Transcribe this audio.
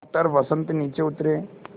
doctor Vasant नीचे उतरे